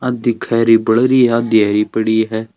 आदि खेरी बल री है आदि हरी पड़ी है।